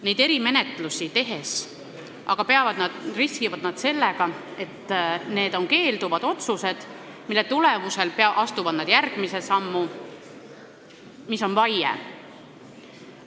Neid erimenetlusi tehes riskivad nad aga sellega, et astuvad keelduvate otsuste tulemusel järgmise sammu, mis on vaie.